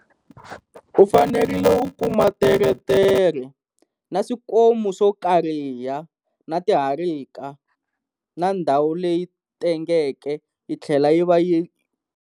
U fanerile u kuma teretere na swikomu swo kariha na tiharika, na ndhawu leyi tengeke yi tlhela yi va yi.